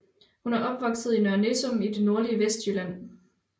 Hun er opvokset i Nørre Nissum i det nordlige Vestjylland